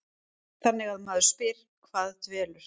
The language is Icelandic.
Þannig að maður spyr, hvað dvelur?